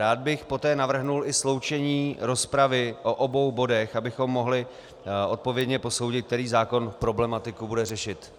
Rád bych poté navrhl i sloučení rozpravy o obou bodech, abychom mohli odpovědně posoudit, který zákon problematiku bude řešit.